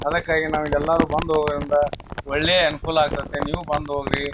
ಅದಕ್ಕಾಗಿ ನಾವು ಇಲ್ಲಿ ಯಲ್ಲಾರೂ ಬಂದು ಹೋಗೋದ್ರಿಂದ ಒಂದ ಒಳ್ಳೆಯ ಅನುಕೂಲ ಆಗತೈತೆ ನೀವು ಬಂದ್ ಹೋಗ್ರಿ.